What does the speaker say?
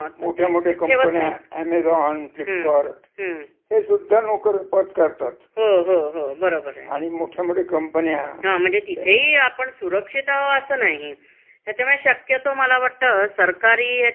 ह्याच्यामुळे शक्यतो मला वाटत सरकारी याच्यामधेच तेवड जरा बऱ्यापैकी सुरक्षित आहोत. हो. होना. म्हणजे कस त्याच्यामध्ये साधारण पगारपानी भरपूर मिळता, होना. बाकीच्या सोयीसुविधांच सुद्धा तुम्हाला हे मिळत म्हणजे